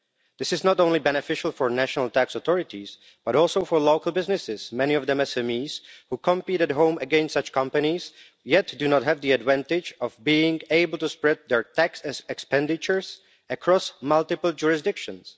This is not only beneficial for national tax authorities but also for local businesses, many of them SMEs, who compete at home against such companies yet do not have the advantage of being able to spread their tax as expenditures across multiple jurisdictions.